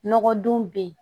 Nɔgɔdon bɛ yen